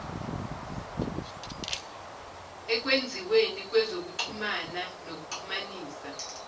ekwenziweni kwezokuxhumana nokuxhumanisa